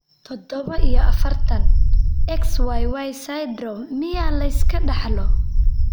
Todoba iyo afartan, XYY syndrome miyaa la iska dhaxlo?